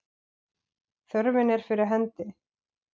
Þörfin er fyrir hendi.